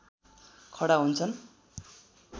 खडा हुन्छ